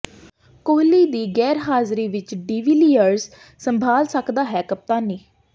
ਕੋਹਲੀ ਦੀ ਗ਼ੈਰਹਾਜ਼ਰੀ ਵਿੱਚ ਡਿਵੀਲੀਅਰਜ਼ ਸੰਭਾਲ ਸਕਦਾ ਹੈ ਕਪਤਾਨੀ